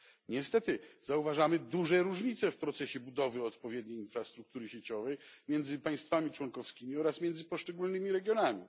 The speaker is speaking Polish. Niestety zauważamy duże różnice w procesie budowy odpowiedniej infrastruktury sieciowej między państwami członkowskimi oraz między poszczególnymi regionami.